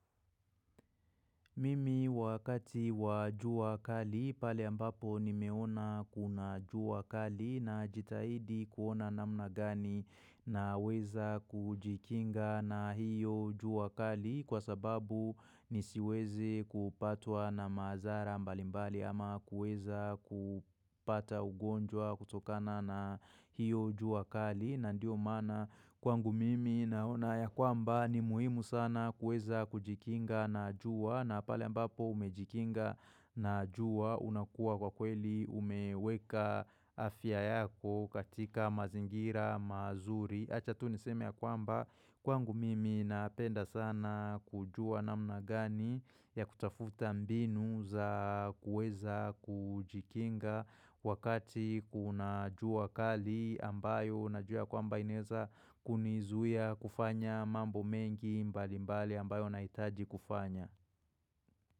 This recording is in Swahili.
Mimi wakati wajua kali pale ambapo nimeona kuna jua kali najitahidi kuona namna gani naweza kujikinga na hiyo jua kali kwa sababu mi siwezi kupatwa na madhara mbalimbali ama kueza kupata ugonjwa kutokana na hiyo jua kali na ndio maana kwangu mimi naona ya kwamba ni muhimu sana kuweza kujikinga na jua na pale ambapo umejikinga na jua unakuwa kwa kweli umeweka afya yako katika mazingira mazuri Acha tu niseme ya kwamba kwangu mimi napenda sana kujua namna gani ya kutafuta mbinu za kuweza kujikinga Wakati kuna jua kali ambayo najua ya kwamba inaeza kunizuia kufanya mambo mengi mbali mbali ambayo nahitaji kufanya.